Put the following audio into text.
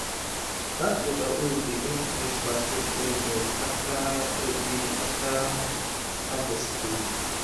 dat water hose dey epp rinse basket well well after every after harvest cleaning